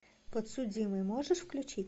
подсудимый можешь включить